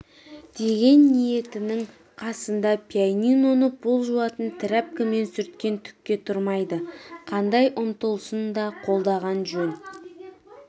деген ниетінің қасында пианиноны пол жуатын трәпкімен сүрткен түкке тұрмайды қандай ұмтылысын да қолдаған жөн